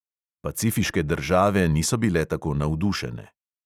Pacifiške države niso bile tako navdušene.